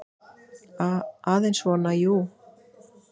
Aðeins svona, jú.